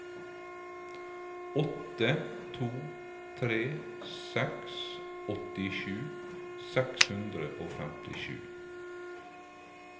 åtte to tre seks åttisju seks hundre og femtisju